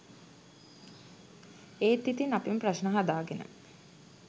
එත් ඉතින් අපිම ප්‍රශ්න හදාගෙන